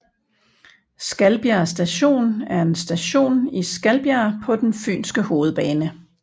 Skalbjerg Station er en station i Skalbjerg på den fynske hovedbane